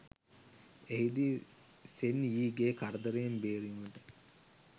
එහිදී සෙන් යීගේ කරදරයෙන් බේරීමට